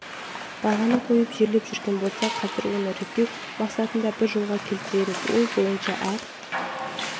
бағаны қойып жерлеп жүрген болса қазір оны реттеу мақсатында бір жолға келтіреміз ол бойынша әр